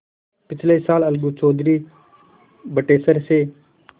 पिछले साल अलगू चौधरी बटेसर से